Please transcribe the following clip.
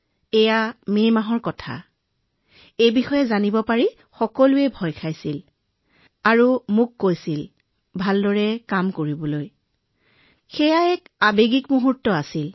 এয়া মে মাহৰ কথা আছিল আৰু মই কোৱাৰ লগে লগে সকলোৱে ভয় খাইছিল মোক ভয় খাইছিল কৈছিল যে ভালদৰে কাম কৰিবা এক আৱেগিক পৰিস্থিতিৰ সৃষ্টি হৈছিল মহোদয়